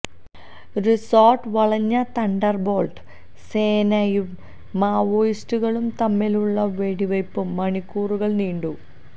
resort വളഞ്ഞ thunderbolt സേനയും മാവോയിസ്റ്റുകളും തമ്മിലുള്ള വെടിവയ്പ് മണിക്കൂറുകള് നീണ്ടു